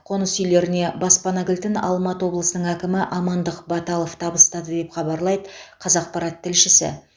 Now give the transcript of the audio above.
қоныс иелеріне баспана кілтін алматы облысының әкімі амандық баталов табыстады деп хабарлайды қазақпарат тілшісі